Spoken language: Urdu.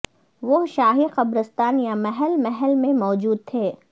وہ شاہی قبرستان یا محل محل میں موجود تھے